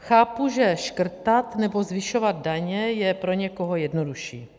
Chápu, že škrtat nebo zvyšovat daně je pro někoho jednodušší.